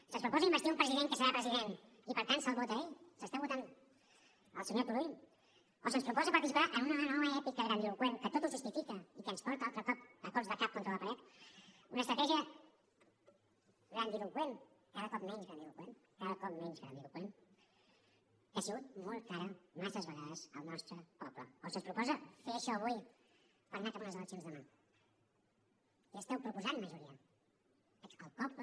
se’ns proposa investir un president que serà president i per tant se’l vota a ell s’està votant el senyor turull o se’ns proposa participar en una gran nova èpica grandiloqüent que tot ho justifica i que ens porta altre cop a cops de cap contra la paret una estratègia grandiloqüent cada cop menys grandiloqüent cada cop menys grandiloqüent que ha sigut molt cara massa vegades al nostre poble o se’ns proposa fer això avui per anar cap a unes eleccions demà què esteu proposant majoria el poble